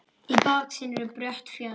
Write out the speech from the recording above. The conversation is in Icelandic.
Í baksýn eru brött fjöll.